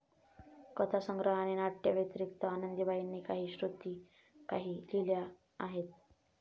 कथासंग्रह आणि नाट्यव्यतिरिक्त आनंदीबाईंनी काही श्रुतिकाही लिहिल्या आहेत.